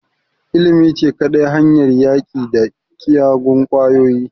Ilimi ce kadai hanyar yaƙi da kiyagun ƙwayoyi